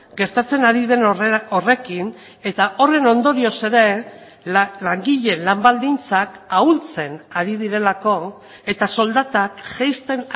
gertatzen ari den horrekin eta horren ondorioz ere langileen lan baldintzak ahultzen ari direlako eta soldatak jaisten